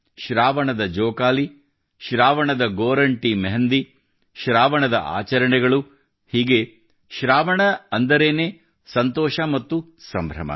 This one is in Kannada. ಶ್ರಾವಣದ ಜೋಕಾಲಿ ಶ್ರಾವಣದ ಗೋರಂಟಿ ಶ್ರಾವಣದ ಆಚರಣೆಗಳು ಹೀಗೆ ಶ್ರಾವಣ ಅಂದರೇನೆ ಸಂತೋಷ ಮತ್ತು ಸಂಭ್ರಮ